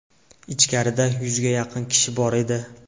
Ichkarida yuzga yaqin kishi bor edi.